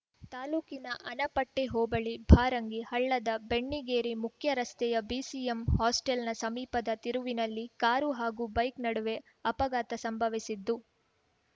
ತಾಲೂಕಿನ ಆನಪಟ್ಟೆಹೋಬಳಿ ಭಾರಂಗಿಹಳ್ಳದ ಬೆಣ್ಣಿಗೇರಿ ಮುಖ್ಯರಸ್ತೆಯ ಬಿಸಿಎಂ ಹಾಸ್ಟೆಲ್‌ ಸಮೀಪದ ತಿರುವಿನಲ್ಲಿ ಕಾರು ಹಾಗೂ ಬೈಕ್‌ ನಡುವೆ ಅಪಘಾತ ಸಂಭವಿಸಿತ್ತು